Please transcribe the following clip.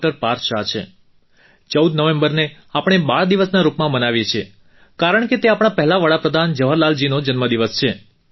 પાર્થ શાહ છે 14 નવેમ્બરને આપણે બાળ દિવસના રૂપમાં મનાવીએ છીએ કારણ કે તે આપણા પહેલા વડા પ્રધાન જવાહરલાલજીનો જન્મદિવસ છે